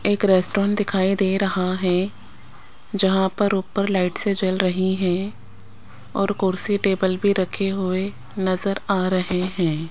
एक रेस्टोरेंट दिखाई दे रहा है जहां पर ऊपर लाइट्से जल रही हैं और कुर्सी टेबल भी रखे हुए नजर आ रहे हैं।